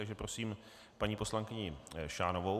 Takže prosím paní poslankyni Šánovou.